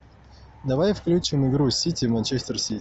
давай включим игру сити манчестер сити